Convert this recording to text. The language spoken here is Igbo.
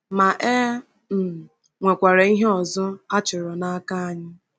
Ma, e e um nwekwara ihe ọzọ a chọrọ n’aka anyị.